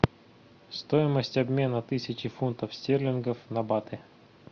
стоимость обмена тысячи фунтов стерлингов на баты